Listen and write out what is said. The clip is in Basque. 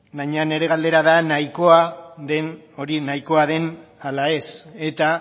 baina nire galdera da hori nahikoa den ala ez eta